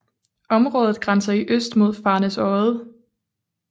Området grænser i øst mod Farnæsodde